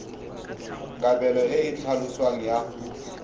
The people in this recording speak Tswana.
kabelo e e tlhaloswang ya